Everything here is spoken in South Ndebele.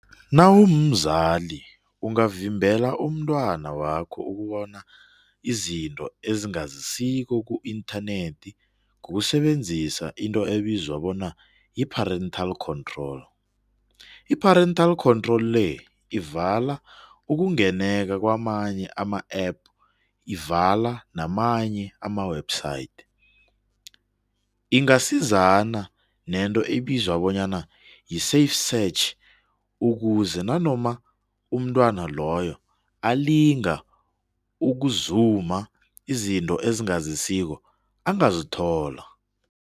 Nawumzali ungavimbela umntwana wakho ukubona izinto ezingazisiko ku-internet ngokusebenzisa into ebizwa ngokuthi yi-parental control. I-parental control le, ivala ukungeneka kwamanye ama-app, ivala namanye ama-website. Ingasizana nento ebizwa bona yi-save search ukuze nanoma umntwana loyo alinga ukuzuma izinto ezingazisiko, angazithola.